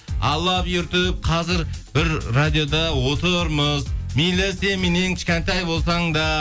алла бұйыртып қазір бір радиода отырмыз мейлі сен меннен кішкентай болсаң да